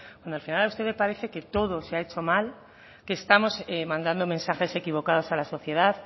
bueno al final a usted le parece que todo se ha hecho mal que estamos mandando mensajes equivocados a la sociedad